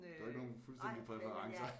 Du har ikke nogen fuldstændige præferencer